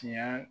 Tiɲɛ